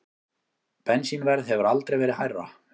Bensínverð hefur aldrei verið hærra